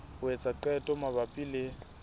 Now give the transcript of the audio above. ho etsa qeto mabapi le